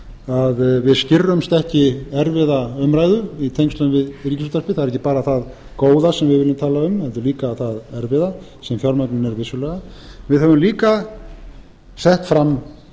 að við skirrumst ekki erfiða umræðu í tengslum við ríkisútvarpið það er ekki bara það góða sem við viljum tala um heldur líka það erfiða sem fjármögnun er vissulega við höfum líka sett fram